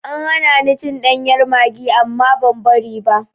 An hana ni cin ɗanyar maggi amma ban bari ba.